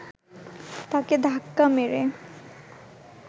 তাঁকে ধাক্কা মেরে